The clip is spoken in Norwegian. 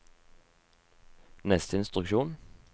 neste instruksjon